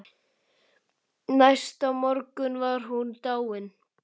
Næsta morgun var hún dáin.